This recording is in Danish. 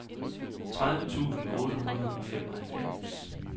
tredive tusind otte hundrede og femoghalvfems